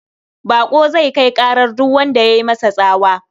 Baƙo zai kai ƙarar duk wanda ya yi masa tsawa.